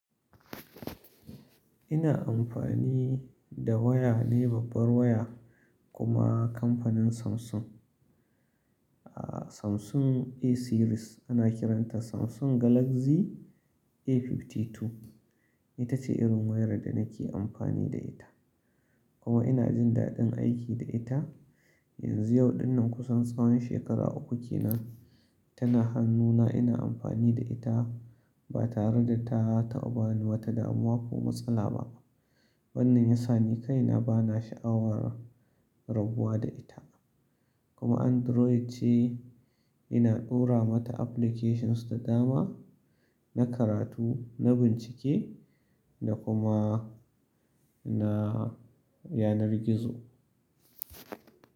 Ina amfani da waya ne babbar waya kuma kamfanin Samsung. A Samsung A series ana kiranta Samsung Galaxy A52. Ita ce irin wayar da nake amfani da ita. Kuma ina jin daɗin aiki da ita. Yanzu yau dinnan kusan tsawon shekara uku ke nan tana hannuna ina amfani da ita ba tare da ta taba wani wata damuwa ko matsala ba. Wannan ya sa ni kai na ba na sha'awar rabuwa da ita. Kuma Android ce, ina ɗora mata applications da dama na karatu, na bincike da kuma na yanar gizo.